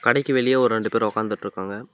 கடைக்கு வெளிய ஒரு ரெண்டு பேர் உக்காந்துட்ருக்காங்க.